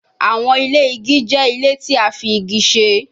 Awọn ile igi jẹ ile ti a fi igi ṣe